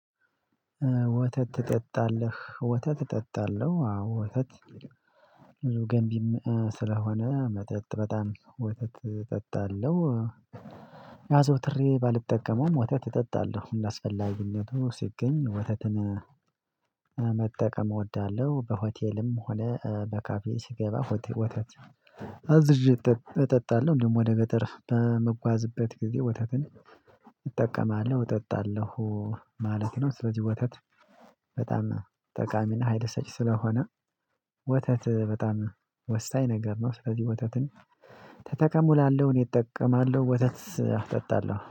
ወተት ትጠጣለህ ወተት እጠጣለሁ አዎ። ወተት ገንቢ ስለሆነ መጠጥ በጣም ወተት እጠጣለሁ አዘውትሬ ባልጠቀመውም ወተት እጠጣለሁ አስፈላጊነቱ ሲገኝ ወተትን መጠቀም እወዳለሁ። በሆቴልም ሆነ በካፌ ሲገባ ሆቴል ወተት አዝዤ እጠጣለሁ። እንደውም ወደ ገጠር በመጓዝበት ጊዜ ወተትን እጠቀማለሁ እጠጣለሁ ማለት ነው። ስለዚህ ወተት በጣም ጠቃሚና ኃይለሰጭ ስለሆነ ወተት በጣም ወሳኝ ነገር ነው። ስለዚህ ወተትን ተጠቀሙ እላለሁ እኔ እጠቀማለሁ ወተት እጠጣለሁ